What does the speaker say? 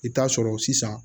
I bɛ taa sɔrɔ sisan